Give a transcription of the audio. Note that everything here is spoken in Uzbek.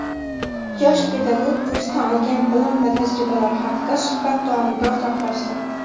Yosh pedagog kursdan olgan bilim va tajribalari haqida suhbat davomida o‘rtoqlashdi.